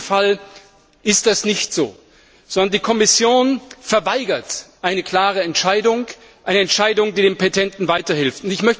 In diesem Fall ist es nicht so, sondern die Kommission verweigert eine klare Entscheidung, eine Entscheidung, die dem Petenten weiterhilft.